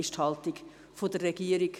Das ist die Haltung der Regierung.